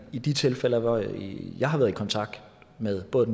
i de tilfælde hvor jeg jeg har været i kontakt med både